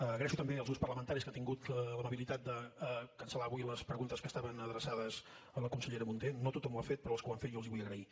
agraeixo també als grups parlamentaris que han tingut l’amabilitat de cancel·lar avui les preguntes que estaven adreçades a la consellera munté no tothom ho ha fet però als que ho han fet jo els hi vull agrair